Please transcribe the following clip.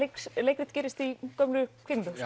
leikrit gerist í gömlu kvikmyndahúsi